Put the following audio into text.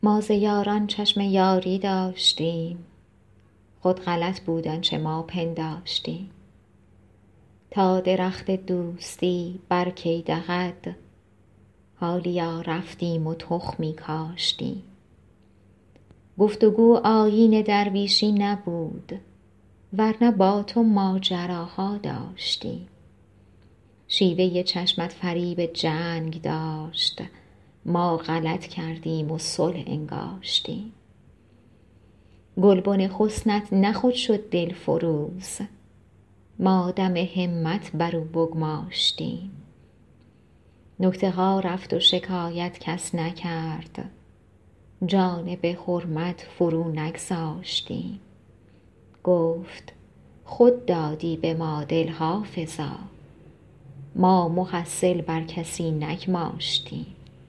ما ز یاران چشم یاری داشتیم خود غلط بود آنچه ما پنداشتیم تا درخت دوستی بر کی دهد حالیا رفتیم و تخمی کاشتیم گفت و گو آیین درویشی نبود ور نه با تو ماجراها داشتیم شیوه چشمت فریب جنگ داشت ما غلط کردیم و صلح انگاشتیم گلبن حسنت نه خود شد دلفروز ما دم همت بر او بگماشتیم نکته ها رفت و شکایت کس نکرد جانب حرمت فرو نگذاشتیم گفت خود دادی به ما دل حافظا ما محصل بر کسی نگماشتیم